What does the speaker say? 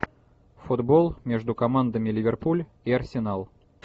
футбол между командами ливерпуль и арсенал